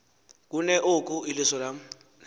kuneoku iliso lam